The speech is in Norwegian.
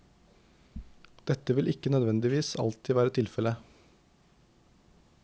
Dette vil ikke nødvendigvis alltid være tilfelle.